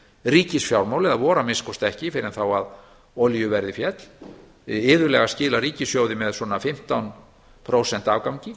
ríkisfjármál eða voru að minnsta kosti ekki fyrr en þá að olíuverðið féll iðulega skilar ríkissjóði með svona fimmtán prósenta afgangi